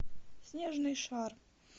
снежный шар